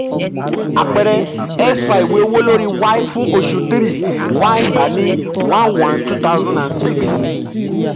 àpẹẹrẹ: x fa ìwé owó lórí y fún oṣù three y gbà ní one one two thousand and six